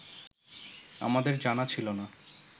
আমাদের জানা ছিল না